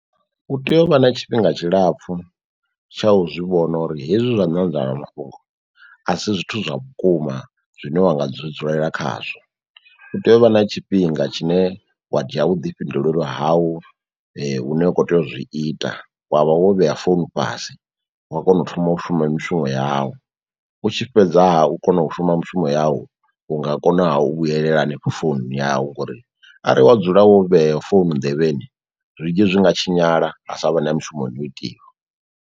U tea u vha na tshifhinga tshilapfu tsha u zwivhona uri hezwi zwa nyanḓadza mafhungo a si zwithu zwa vhukuma zwine wa nga dzulela khazwo. U tea u vha na tshifhinga tshine wa dzhia vhuḓifhinduleli hawu hune wa kho tea uzwi ita wavha wo vheya founu fhasi, wa kona u thoma u shuma mishumo yau, u tshi fhedzaha u kona u shuma mushumo yau u nga kona ha u vhuyelela hanefho foununi yau ngori arali wa dzula wo vhea founu nḓevheni zwinzhi zwi nga tshinyala ha sa vha na mushumoni u itiwa.